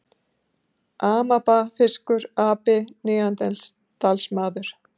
Amaba, fiskur, api, neanderdalsmaður.